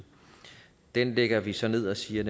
den lægger vi så ned og siger